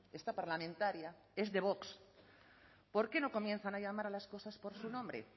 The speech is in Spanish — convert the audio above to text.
esta parlamentaria es de vox por qué no comienzan a llamar a las cosas por su nombre